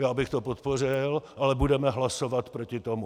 Já bych to podpořil, ale budeme hlasovat proti tomu.